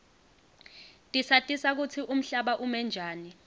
tisatisa kutsi umhlaba ume njani